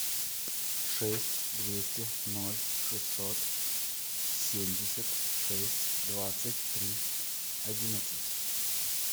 шесть двести ноль шестьсот семьдесят шесть двадцать три одиннадцать